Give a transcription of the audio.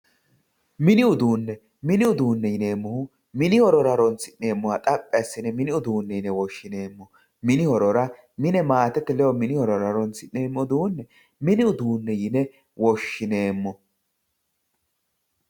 mini uduunne mini uduunne yineemmohu mini horora horonsi'neemmoha xaphi assine mini uduunne yine woshshinanni mini horora mine maatete ledo horonsi'neemmo uduunne mini uduunne yine woshshineemmo.